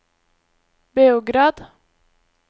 Beograd